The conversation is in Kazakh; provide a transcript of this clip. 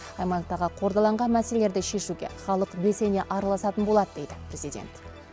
аймақтағы қордаланған мәселелерді шешуге халық белсене араласатын болады дейді президент